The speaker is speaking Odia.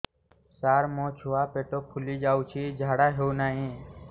ସାର ମୋ ଛୁଆ ପେଟ ଫୁଲି ଯାଉଛି ଝାଡ଼ା ହେଉନାହିଁ